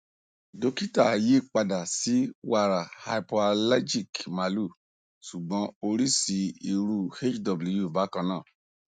dokita yi pada si wara hypoalergic malu sugbon orisi iru hw bakana